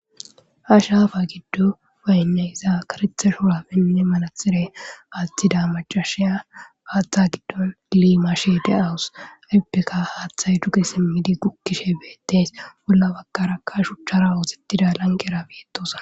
Ha shaafa giddo payna iza karetha shora pinne manathirey aaththida macashiya haaththa giddo dlimashe de awus ippeka haaththay duge simmidi gukkishe beettes bolla bakarakka shuchchara ooxettida lanqera beetosa